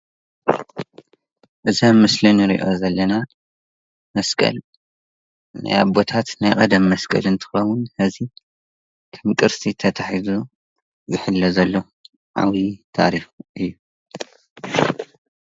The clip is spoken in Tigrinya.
እዚ አብ ምስሊ እንሪኦ ዘለና መስቀል ናይ አቦታት ናይ ቀደም መስቀል እንትከውን ሕዚ ከም ቅርሲ ተታሒዙ ዝሕሎ ዘሎ ዓብይ ታሪክ እዩ፡፡